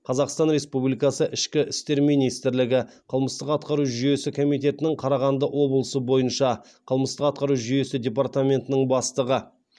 қазақстан республикасы ішкі істер министрлігі қылмыстық атқару жүйесі комитетінің қарағанды облысы бойынша қылмыстық атқару жүйесі департаментінің бастығы